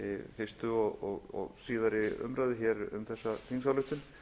fyrstu og síðari umræðu hér um þessa þingsályktun